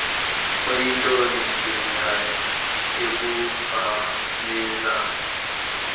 kuyinto elungileyo ukubhalela